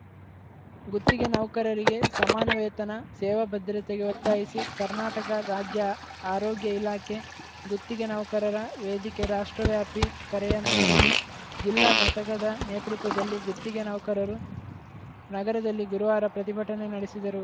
ಗುತ್ತಿಗೆ ನೌಕರರಿಗೆ ಸಮಾನ ವೇತನ ಸೇವಾ ಭದ್ರತೆಗೆ ಒತ್ತಾಯಿಸಿ ಕರ್ನಾಟಕ ರಾಜ್ಯ ಆರೋಗ್ಯ ಇಲಾಖೆ ಗುತ್ತಿಗೆ ನೌಕರರ ವೇದಿಕೆ ರಾಷ್ಟ್ರವ್ಯಾಪಿ ಕರೆಯ ಮೇರೆಗೆ ಜಿಲ್ಲಾ ಘಟಕದ ನೇತೃತ್ವದಲ್ಲಿ ಗುತ್ತಿಗೆ ನೌಕರರು ನಗರದಲ್ಲಿ ಗುರುವಾರ ಪ್ರತಿಭಟನೆ ನಡೆಸಿದರು